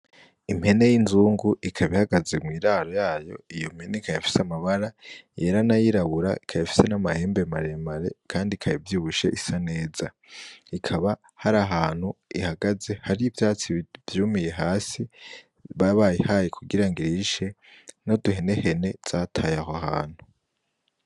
Impene y'inzungu ikaba ihagaze mw'iraro yayo , iyo mpene ikab'ifise amabara yera n'ayirabura , ikab'ifise n'amahembe maremare kand'ikaba ivyibushe isa neza , ikaba har'ahantu ihagaze har'ivyatsi vyumiye hasi baba bayihaye kugira ng'irishe , n'uduhenehene zataye aho hantu.